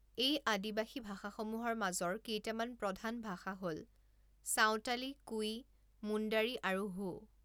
এই আদিবাসী ভাষাসমূহৰ মাজৰ কেইটামান প্ৰধান ভাষা হ'ল চাঁওতালি, কুই, মুণ্ডাৰী আৰু হো।